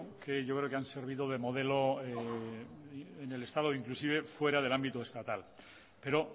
que yo creo que han servido de modelo en el estado inclusive fuera del ámbito estatal pero